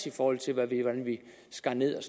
i forhold til hvordan vi skar ned og